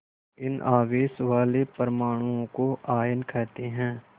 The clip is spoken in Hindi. इन आवेश वाले परमाणुओं को आयन कहते हैं